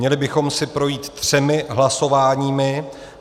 Měli bychom si projít třemi hlasováními.